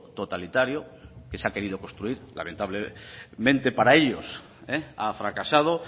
totalitario que se ha querido construir lamentablemente para ellos ha fracasado